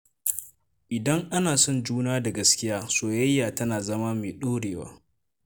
Idan ana son juna da gaskiya, soyayya tana zama mai ɗorewa.